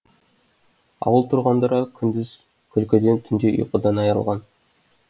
ауыл тұрғындары күндіз күлкіден түнде ұйқыдан айырылған